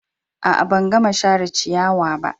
A'a, ban gama share ciyawa ba.